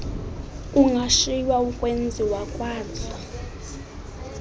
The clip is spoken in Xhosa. kungashiywa ukwenziwa kwazo